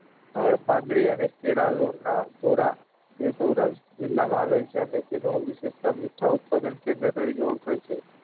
સ્થળ પાંદરી અને તે સૌરાસ્ટ્ર જિલ્લા માં આવેલ છે અને તેની વિશિસ્તતા મીઠા ઉત્પાદન કેન્દ્ર તરીકે ઓળખાય છે.